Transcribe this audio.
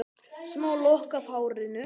Smá lokk af hárinu.